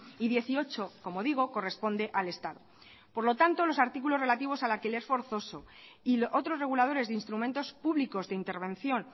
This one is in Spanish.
y dieciocho como digo corresponde al estado por lo tanto los artículos relativos al alquiler forzoso y otros reguladores de instrumentos públicos de intervención